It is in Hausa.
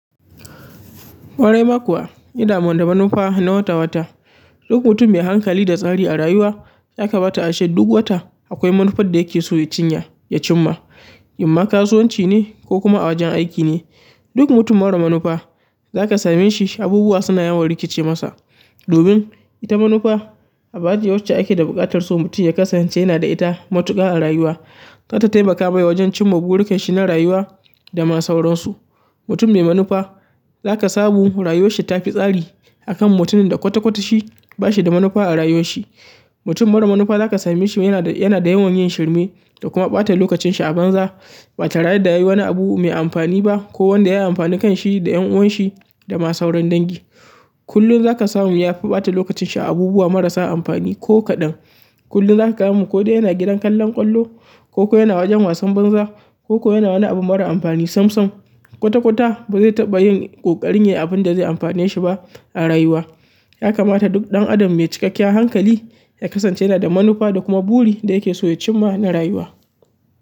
Ƙwarai ma kuwa, ida man da manufa na wata-wata. Duk mutum mai hankali da tsari a rayuwa ya kamata ace duk wata akwai manufar da yake so ya cinya, ya cimma. Kuma kasuwanci ne ko kuma a wajen aiki ne, duk mutum mara manufa za ka same shi abubuwa suna yawan rikici masa. Domin ita manufa, abace wacce ake da buƙatar so mutum ya kasance yana da ita matuƙa a rayuwa. Za ta taimaka mai wajen cimma burinka shi na rayuwa da ma sauransu. Mutum mai manufa za ka samu rayuwar shi ta fi tsari akan mutumin da kwata-kwata shi ba shi da manufa a rayuwar shi. Mutum mara manufa za ka same shi yana da yawan yin shirme da kuma ɓata lokacin shi a banza. Ba tare da yayi wani abu mai amafani ba ko wanda ya amfani kanshi da ƴan uwanshi da ma sauran dangi. Kullum za ka samu ya fi ɓata lokacin shi a abubuwa marasa amfani ko kaɗan. Kullum za ka gan mu ko dai yana gidan kallon ƙwallo ko ko yana wajen wasan banza ko ko yana wani abu mara amfani sam-sam. Kwata-kwata ba zai taɓa yin ƙoƙari ne abun da zai amfane shi ba a rayuwa. Ya kamata duk ɗan adam mai cikakkiyar hankali ya kasance yana da manufa da kuma buri da yake so ya cimma na rayuwa.